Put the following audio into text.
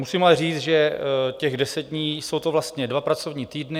Musím ale říct, že těch deset dní - jsou to vlastně dva pracovní týdny.